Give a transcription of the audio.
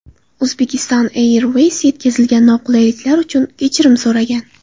Uzbekistan Airways yetkazilgan noqulayliklar uchun kechirim so‘ragan.